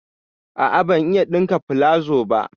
A'a, ban iya ɗinka palazo ba.